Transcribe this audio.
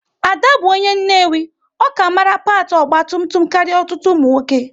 Ada bụ onye Nnewi, ọ ka mara pâti ogba tum tum karịa ọtụtụ ụmụ nwoke